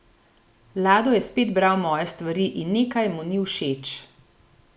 Lado je spet bral moje stvari in nekaj mu ni všeč.